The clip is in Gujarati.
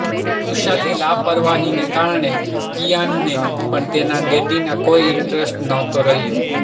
કુશાલની લાપરવાહીને કારણે કિઆનને પણ તેના ડૅડીમાં કોઈ ઇન્ટરેસ્ટ નહોતો રહ્યો